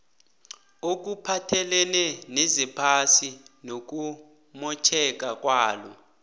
okuphathelene nezephasi nokumotjheka kwalo